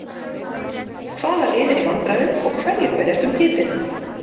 Hvaða lið eru í vandræðum og hverjir berjast um titilinn?